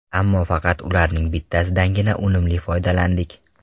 Ammo faqat ularning bittasidangina unumli foydalandik.